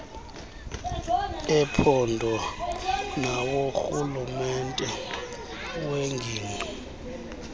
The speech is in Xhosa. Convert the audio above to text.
ephondo naworhulumente wengingqi